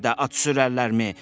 Belə də at sürərlərmi?